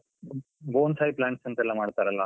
Bonsai plants ಅಂತ ಎಲ್ಲ ಮಾಡ್ತಾರಲ್ಲ.